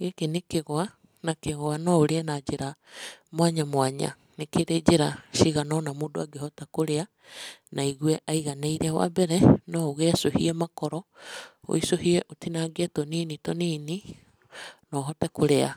Gĩkĩ nĩ kĩgwa na kĩgwa no ũrĩe na njĩra mwanya mwanya. Nĩ kĩrĩ njĩra cigana ũna mũndũ angĩhota kũrĩa na aigue aiganĩire . Wa mbere no ũgĩecũhie makoro, wecũhie ũtinangĩe tũnini tũnini no ũhote kũrĩa